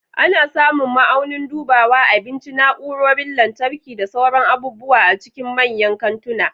Ana samun ma'aunin dubawa, abinci, na'urorin lantarki, da sauran abubuwa a cikin manyan kantuna.